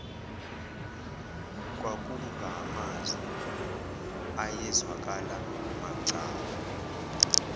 kwakungamazwi ayezwakala macala